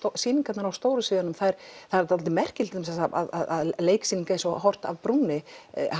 sýningarnar á stóru sviðunum það er það er dálítið merkilegt að sýningar eins og horft af brúnni